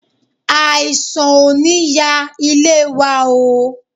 Àìsàn ò ní ya ilé wa oo.